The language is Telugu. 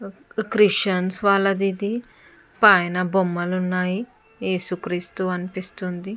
క్రిస్టియన్స్ వాళ్లది ఇది పైన బొమ్మలు ఉన్నాయి ఏసుక్రీస్తు అనిపిస్తుంది.